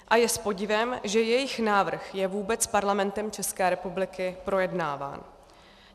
A je s podivem, že jejich návrh je vůbec Parlamentem České republiky projednáván.